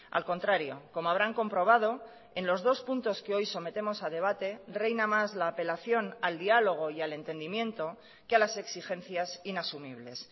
al contrario como habrán comprobado en los dos puntos que hoy sometemos a debate reina más la apelación al diálogo y al entendimiento que a las exigencias inasumibles